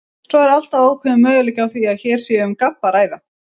Svo er alltaf ákveðinn möguleiki á því að hér sé um gabb að ræða.